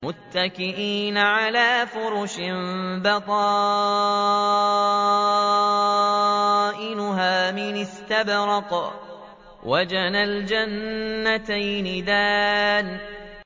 مُتَّكِئِينَ عَلَىٰ فُرُشٍ بَطَائِنُهَا مِنْ إِسْتَبْرَقٍ ۚ وَجَنَى الْجَنَّتَيْنِ دَانٍ